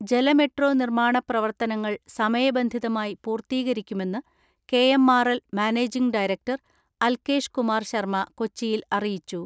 ജലമെട്രോ നിർമ്മാണ പ്രവർത്തനങ്ങൾ സമയബന്ധിതമായി പൂർത്തീകരിക്കുമെന്ന് KMRL managing director Alkesh Kumar Sharma കൊച്ചിയിൽ അറിയിച്ചു.